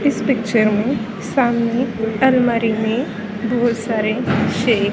इस पिक्चर में सामने अलमारी में बहुत सारे छे--